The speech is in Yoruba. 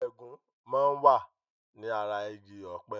Ẹ̀gún máa ń wà ní ara igi ọpẹ